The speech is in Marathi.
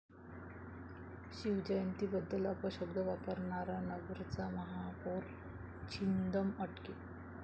शिवजयंतीबद्दल अपशब्द वापरणारा नगरचा उपमहापौर छिंदम अटकेत